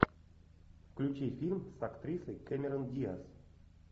включи фильм с актрисой кэмерон диаз